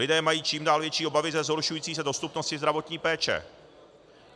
Lidé mají čím dál větší obavy ze zhoršující se dostupnosti zdravotní péče.